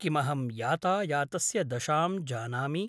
किमहं यातायातस्य दशां जानामि?